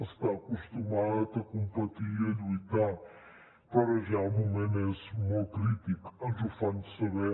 està acostumat a competir i a lluitar però ara ja el moment és molt crític ens ho fan saber